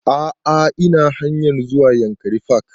A'a ina hanayr zuwa yankari park